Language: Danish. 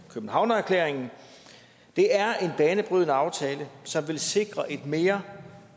københavnererklæringen det er en banebrydende aftale som vil sikre et mere